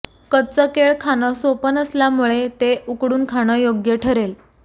कच्चं केळं खाणं सोपं नसल्यामुळे ते उकडून खाणं योग्य ठरेल